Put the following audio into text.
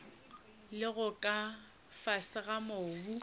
lego ka fase ga mobu